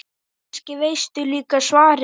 Kannski veistu líka svarið.